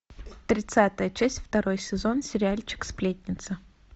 тридцатая часть второй сезон сериальчик сплетница